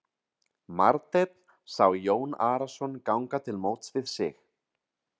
Marteinn sá Jón Arason ganga til móts við sig.